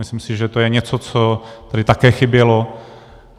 Myslím si, že to je něco, co tady také chybělo.